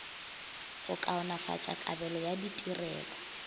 go kaonafatša kabelo ya ditirelo